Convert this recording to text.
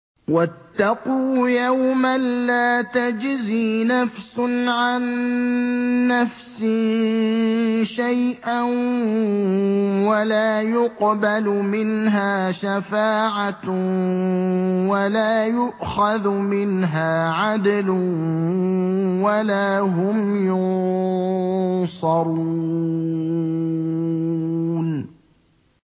وَاتَّقُوا يَوْمًا لَّا تَجْزِي نَفْسٌ عَن نَّفْسٍ شَيْئًا وَلَا يُقْبَلُ مِنْهَا شَفَاعَةٌ وَلَا يُؤْخَذُ مِنْهَا عَدْلٌ وَلَا هُمْ يُنصَرُونَ